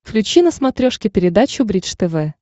включи на смотрешке передачу бридж тв